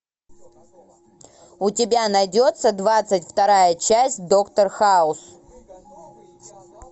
у тебя найдется двадцать вторая часть доктор хаус